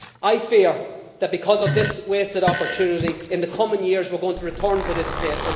I fear that, because of this wasted opportunity, in the coming years we are going to return to this place.